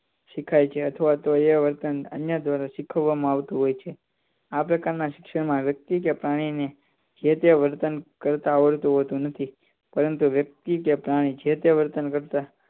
શીખાય છે અથવા તો એ વર્તન અન્ય દ્વારા શીખવવામાં આવતું હોય છે આ પ્રકાર શિક્ષણ માં વ્યક્તિ કે પ્રાણીને જેતે વર્તન કરતા આવડતું નથી પરતું વ્યક્તિ કે પ્રાણીને જેતે વર્તન કરતા